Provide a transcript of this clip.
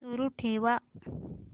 सुरू ठेव